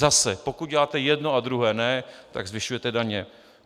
Zase, pokud uděláte jedno a druhé ne, tak zvyšujete daně.